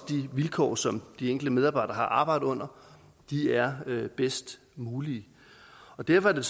de vilkår som de enkelte medarbejdere har arbejdet under er det bedst mulige derfor er